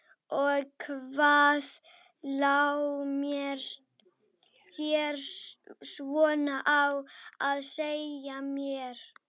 Þannig að hún varð að undirbúa áramótin á hlaupum.